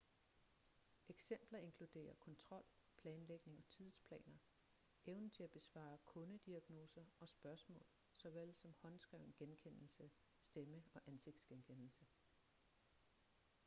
eksempler inkluderer kontrol planlægning og tidsplaner evnen til at besvare kundediagnoser og spørgsmål såvel som håndskreven genkendelse stemme- og ansigtsgenkendelse